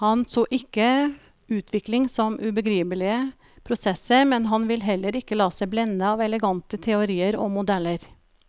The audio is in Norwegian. Han så ikke utvikling som ubegripelige prosesser, men han ville heller ikke la seg blende av elegante teorier og modeller.